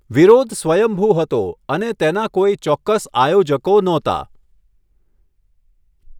વિરોધ સ્વયંભૂ હતો અને તેના કોઈ ચોક્કસ આયોજકો નહોતા.